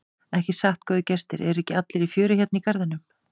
Ekki satt góðir gestir, eru ekki allir í fjöri hérna í garðinum?